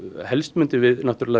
helst myndum við